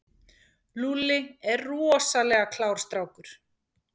Lúlli er rosalega klár strákur.